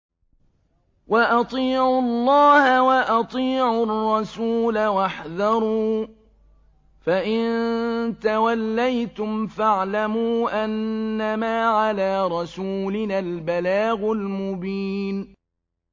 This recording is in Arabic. وَأَطِيعُوا اللَّهَ وَأَطِيعُوا الرَّسُولَ وَاحْذَرُوا ۚ فَإِن تَوَلَّيْتُمْ فَاعْلَمُوا أَنَّمَا عَلَىٰ رَسُولِنَا الْبَلَاغُ الْمُبِينُ